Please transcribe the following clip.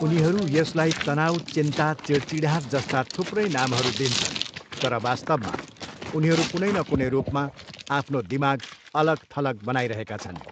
उनीहरू यसलाई तनाउ चिन्ता चिढचिढाहट जस्ता थुप्रै नामहरू दिन्छन् तर वास्तवमा उनीहरू कुनै न कुनै रूपमा आफ्नो दिमाग अलग थलग बनाइरहेका छन्।